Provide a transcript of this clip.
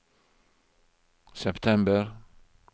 september